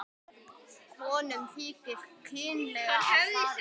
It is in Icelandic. Konum þykir kynlega að farið.